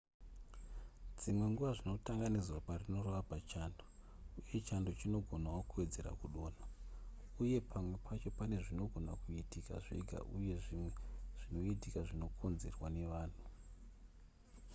dzimwe nguva zvinotanga nezuva parinorova pachando uye chando chinogonawo kuwedzera kudonha uye pamwe pacho pane zvinogona kuitika zvega uye zvimwe zvinoitika zvinokonzerwa nevanhu